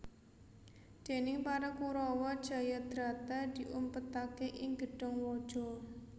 Déning para Kurawa Jayadrata diumpetaké ing gedhong waja